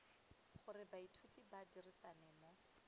gore baithuti ba dirisane mo